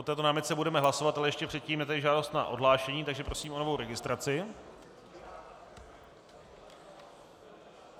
O této námitce budeme hlasovat, ale ještě předtím je tady žádost o odhlášení, takže prosím o novou registraci.